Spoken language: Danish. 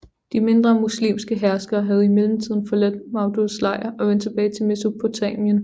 De mindre muslimske herskere havde i mellemtiden forladt Mawduds lejr og vendt tilbage til Mesopotamien